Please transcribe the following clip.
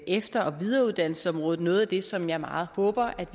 efter og videreuddannelsesområdet noget af det som jeg meget håber